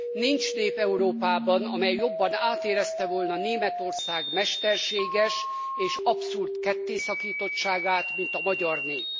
Nincs nép Európában, amely jobban átérezte volna Németország mesterséges és abszurd kettészakítottságát, mint a magyar nép.